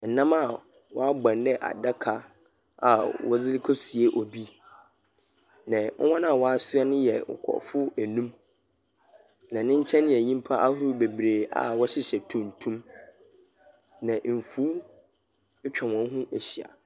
Nnam a wɔabɔn dɛ adaka a wɔde rekɔsie obi, na hɔn a wɔasoa no yɛ nkurɔfoɔ enum, na ne nkyɛn yɛ nyimpa ahorow bebree a wɔhyehyɛ tuntum, na mfuw atwa hɔn ho ehyia.